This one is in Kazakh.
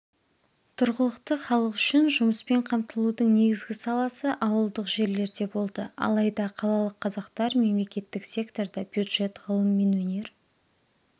тұрғылықты халық үшін жұмыспен қамтылудың негізгі саласы ауылдық жерлерде болды алайда қалалық қазақтар мемлекеттік секторда бюджет ғылым мен өнер